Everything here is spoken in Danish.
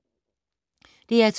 DR2